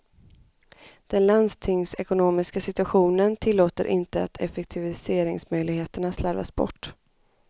Den landstingsekonomiska situationen tillåter inte att effektiviseringsmöjligheterna slarvas bort.